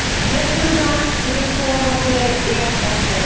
Quelques uns le sont en anglais et en français.